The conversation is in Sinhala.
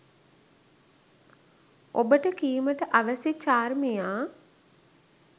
ඔබට කීමට අවැසි චාර්මියා